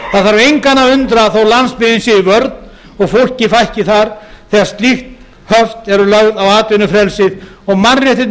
það þarf engan að undra þó að landsbyggðin sé í vörn og fólki fækki þar þegar slík höft eru lögð á atvinnufrelsið og mannréttindi